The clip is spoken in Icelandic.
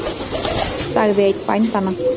sagði einn bændanna.